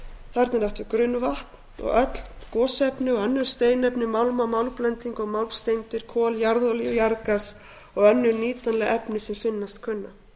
þarna er átt við grunnvatn og öll gosefni og önnur steinefni málma málmblendinga og málmsteindir kol jarðolíu jarðgas og önnur nýtanleg efni sem finnast kunna